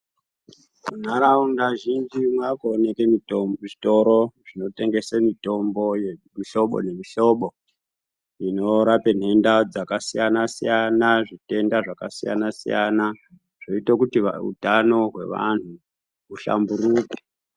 Nharaunda zhinji mava kuonekwa zvitoro zvinotengese mutombo yemihlobo nemihlobo dzinorape ntenda dzakasiyana siyana zvitenda zvakasiyana zvinoita kuti hutano hwevantu huhlamburike.